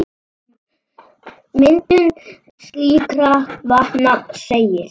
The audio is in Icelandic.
Um myndun slíkra vatna segir